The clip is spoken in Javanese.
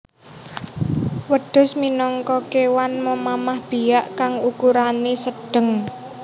Wêdhus minangka kéwan memamah biak kang ukurané sêdhêng